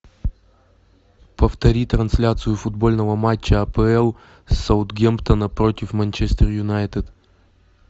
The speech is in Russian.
повтори трансляцию футбольного матча апл саутгемптона против манчестер юнайтед